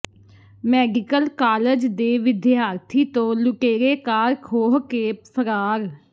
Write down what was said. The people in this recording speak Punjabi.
ਮੈਡੀਕਲ ਕਾਲਜ ਦੇ ਵਿਦਿਆਰਥੀ ਤੋਂ ਲੁਟੇਰੇ ਕਾਰ ਖੋਹ ਕੇ ਫ਼ਰਾਰ